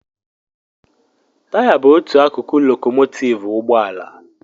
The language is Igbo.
Taya bụ otu akụkụ lokòmòtivú ụgbọ ala